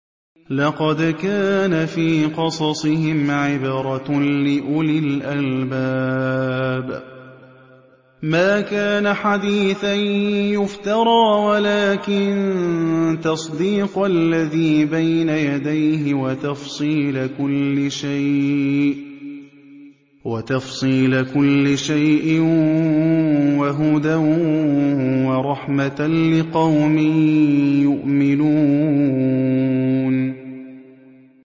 لَقَدْ كَانَ فِي قَصَصِهِمْ عِبْرَةٌ لِّأُولِي الْأَلْبَابِ ۗ مَا كَانَ حَدِيثًا يُفْتَرَىٰ وَلَٰكِن تَصْدِيقَ الَّذِي بَيْنَ يَدَيْهِ وَتَفْصِيلَ كُلِّ شَيْءٍ وَهُدًى وَرَحْمَةً لِّقَوْمٍ يُؤْمِنُونَ